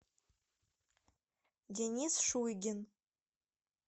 денис шуйгин